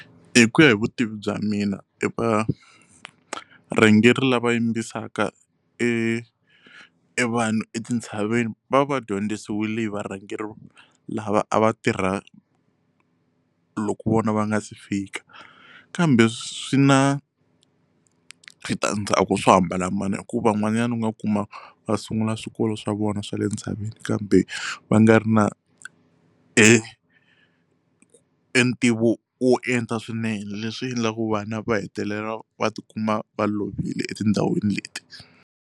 Hi ku ya hi vutivi bya mina evarhangeri lava yimbisaka e evanhu etintshaveni va va va dyondzisiwile hi varhangeri lava a va tirha loko vona va nga se fika kambe swi na switandzhaku swo hambana hikuva van'wana u nga kuma va sungula swikolo swa vona swa le ntshaveni kambe va nga ri na entivo wo enta swinene leswi endlaku vana va hetelela va ti kuma va lovile etindhawini leti.